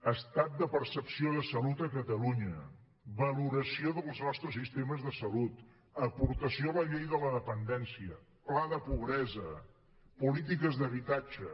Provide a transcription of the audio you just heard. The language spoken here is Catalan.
estat de percepció de salut a catalunya valoració dels nostres sistemes de salut aportació a la llei de la dependència pla de pobresa polítiques d’habitatge